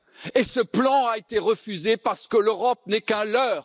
Et ce plan a été refusé parce que l'Europe n'est qu'un leurre!